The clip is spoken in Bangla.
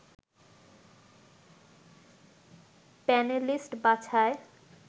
প্যানেলিস্ট বাছাই